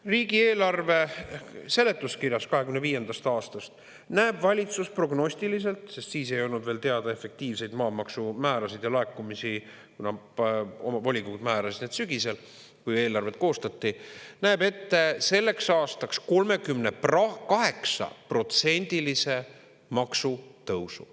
Riigieelarve seletuskirjas 2025. aastast näeb valitsus prognostiliselt ette – sest siis ei olnud veel teada efektiivseid maamaksumäärasid ja laekumisi, kuna omavolikogud määrasid need sügisel, kui eelarvet koostati – selleks aastaks 38%-lise maksutõusu.